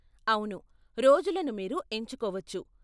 అవును, రోజులను మీరు ఎంచుకోవచ్చు.